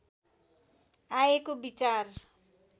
आएको विचार